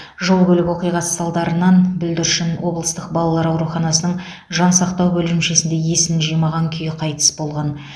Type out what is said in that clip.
жол көлік оқиғасы салдарынан бүлдіршін облыстық балалар ауруханасының жансақтау бөлімшесінде есін жимаған күйі қайтыс болған